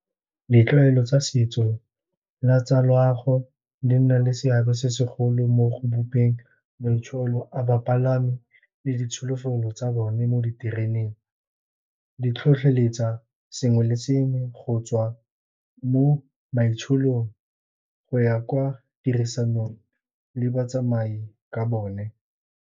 Ditlwaelo tsa setso le tsa loago le nna le seabe se segolo mo go bopeng maitsolo a bapalami le ditsholofelo tsa bone mo ditereneng. Ditlhotlheletsa sengwe le sengwe go tswa mo maitsholong go ya kwa tirisanong le batsamai ka bone.